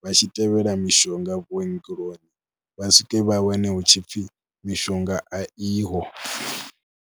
vha tshi tevhela mishonga vhuongeloni, vha swike vha wane hu tshi pfhi mishonga a iho.